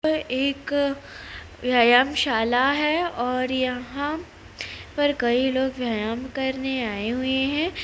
यह एक व्यायामशाला है और यहाँ पर कई लोग व्यायाम करने आए हुए हैं।